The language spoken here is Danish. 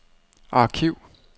arkiv